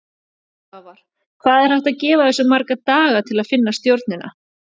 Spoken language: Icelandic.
Svavar: Hvað er hægt að gefa þessu marga daga til að finna stjórnina?